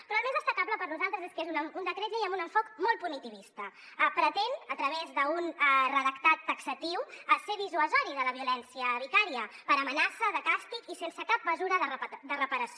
però el més destacable per nosaltres és que és un decret llei amb un enfocament molt punitivista pretén a través d’un redactat taxatiu ser dissuasiu de la violència vicària per amenaça de càstig i sense cap mesura de reparació